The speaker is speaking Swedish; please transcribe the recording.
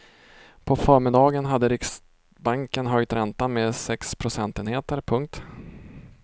På förmiddagen hade riksbanken höjt räntan med sex procentenheter. punkt